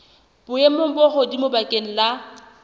boemong bo hodimo bakeng la